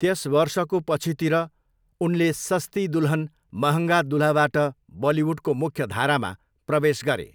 त्यस वर्षको पछितिर, उनले सस्ती दुल्हन महङ्गा दुल्हाबाट बलिउडको मुख्यधारामा प्रवेश गरे।